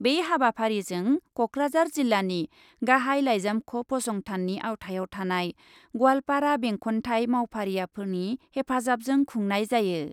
बे हाबाफारिजों कक्राझार जिल्लानि गाहाइ लाइजामख' फसंथाननि आवथायाव थानाय गवालपारा बेंखन्थाइ मावफारियाफोरनि हेफाजाबजों खुंनाय जायो ।